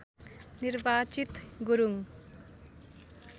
निर्वाचित गुरुङ